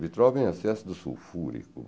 Vitrol vem, excesso do sulfúrico.